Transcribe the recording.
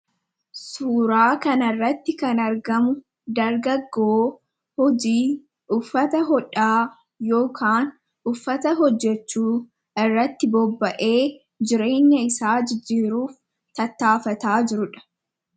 suuraa kan irratti kan argamu dargagoo hojii uffata hodhaa yookaan uffata hojjechuu irratti bobba’ee jireenya isaa jijjiiruuf tattaafataa jirudha